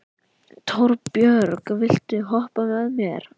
Torbjörg, viltu hoppa með mér?